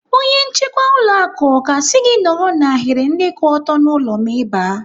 Onye nchekwa ụlọ akụ ọ ga-asị gị nọrọ n'ahiri ndị kwụ ọtọ n'ụlọ ma Ị baa?